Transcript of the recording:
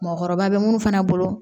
Mɔgɔkɔrɔba bɛ munnu fana bolo